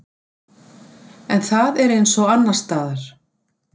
En það er eins og annarsstaðar.